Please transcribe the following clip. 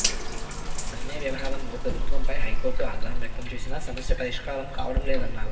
సమ్మె వ్యవహారంలో ప్రభుత్వంపై హైకోర్టు ఆగ్రహం వ్యక్తం చేసినా సమస్య పరిష్కారం కావడం లేదన్నారు